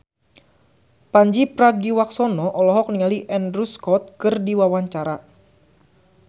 Pandji Pragiwaksono olohok ningali Andrew Scott keur diwawancara